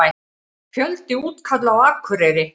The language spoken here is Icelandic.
Fjöldi útkalla á Akureyri